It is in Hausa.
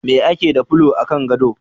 Me ake da fulo a kan gado?